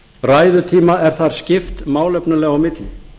ræðutíma er þar skipt málefnalega á milli